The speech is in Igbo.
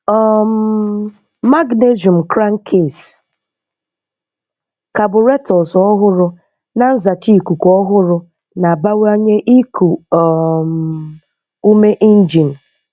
um Magnesium crankcase, carburetors ọhụrụ na nzacha ikuku ọhụrụ na-abawanye iku um ume injin.